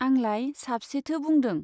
आंलाय साबसेथो बुंदों ?